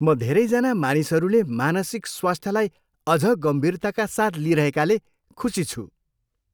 म धेरैजना मानिसहरूले मानसिक स्वास्थ्यलाई अझ गम्भीरताका साथ लिइरहेकाले खुसी छु।